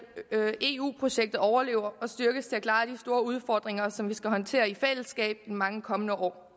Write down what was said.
eu projektet overlever og styrkes til at klare de store udfordringer som vi skal håndtere i fællesskab mange år